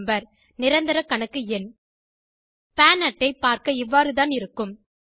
number நிரந்தர கணக்கு எண் பான் அட்டை பாா்க்க இவ்வாறுதான் இருக்கும்